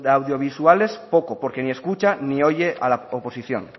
audiovisuales poco porque si escucha ni oye a la oposición